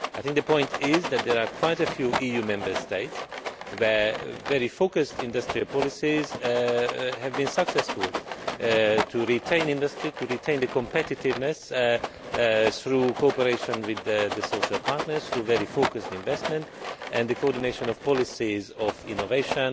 I think the point is that there are quite a few EU Member States where very focused industrial policies have been successful in retaining industry, in retaining competitiveness through cooperation with the social partners through very focused investment and the coordination of policies of innovation,